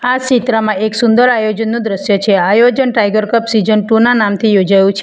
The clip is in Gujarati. આ ચિત્રમાં એક સુંદર આયોજનનું દ્રશ્ય છે આયોજન ટાઈગર કપ સિઝન ટુ ના નામથી યોજાયું છે.